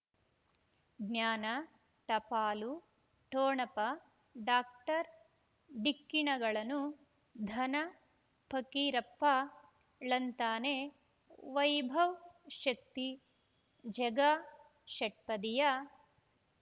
ಜ್ಞಾನ ಟಪಾಲು ಠೊಣಪ ಡಾಕ್ಟರ್ ಢಿಕ್ಕಿ ಣಗಳನು ಧನ ಫಕೀರಪ್ಪ ಳಂತಾನೆ ವೈಭವ್ ಶಕ್ತಿ ಝಗಾ ಷಟ್ಪದಿಯ